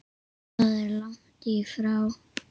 Það er langt í frá.